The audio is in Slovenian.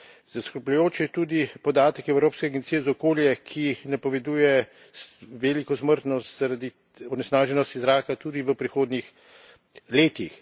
Zaskrbljujoč je tudi podatek Evropske agencije za okolje, ki napoveduje veliko smrtnost zaradi onesnaženosti zraka tudi v prihodnjih letih.